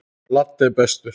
Laddi er bestur.